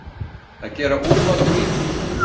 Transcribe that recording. Að gera úlfalda úr mýflugu